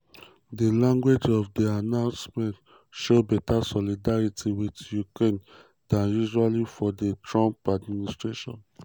um di language of di announcement show beta solidarity with ukraine dan usual for di trump administration.